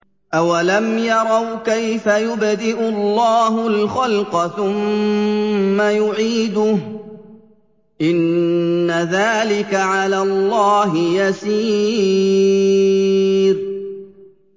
أَوَلَمْ يَرَوْا كَيْفَ يُبْدِئُ اللَّهُ الْخَلْقَ ثُمَّ يُعِيدُهُ ۚ إِنَّ ذَٰلِكَ عَلَى اللَّهِ يَسِيرٌ